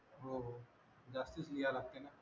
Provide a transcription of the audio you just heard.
हो हो जास्तच लिहा लागते ना